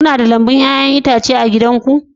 Kuna da lambun 'ya'yan itace a gidanku